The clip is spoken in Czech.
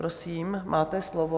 Prosím, máte slovo.